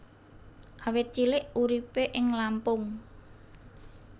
Awit cilik uripé ing Lampung